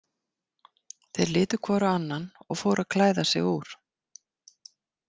Þeir litu hvor á annan og fóru að klæða sig úr.